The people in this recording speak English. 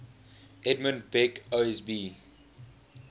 edmund beck osb